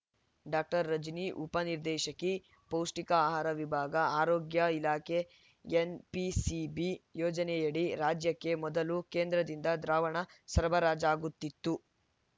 doctor Rajani ಉಪ ನಿರ್ದೇಶಕಿ ಪೌಷ್ಟಿಕ ಆಹಾರ ವಿಭಾಗ ಆರೋಗ್ಯ ಇಲಾಖೆ ಎನ್‌ಪಿಸಿಬಿ ಯೋಜನೆಯಡಿ ರಾಜ್ಯಕ್ಕೆ ಮೊದಲು ಕೇಂದ್ರದಿಂದ ದ್ರಾವಣ ಸರಬರಾಜಾಗುತ್ತಿತ್ತು